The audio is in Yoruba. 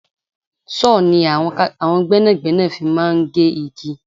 Sọ ni àwọn gbẹ́nàgbẹ́nà fi máa ń gé igi.